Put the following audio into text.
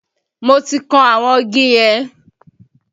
Mo ti kan àwọn igi yẹn